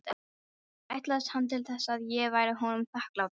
Ætlaðist hann til þess, að ég væri honum þakklátur?